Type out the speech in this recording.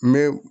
N bɛ